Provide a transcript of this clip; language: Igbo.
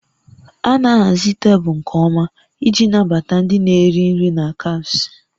A na-ahazi tebụl nke ọma iji nabata ndị na-eri nri na cafes